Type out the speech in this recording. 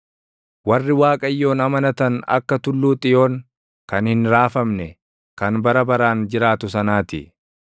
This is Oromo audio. Warri Waaqayyoon amanatan akka Tulluu Xiyoon kan hin raafamne, kan bara baraan jiraatu sanaa ti.